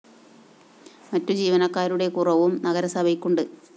മറ്റു ജീവനക്കാരുടെ കുറവും നഗരസഭയ്ക്കുണ്ട്